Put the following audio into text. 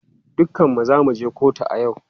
Dukanmu za mu je kotu a yau.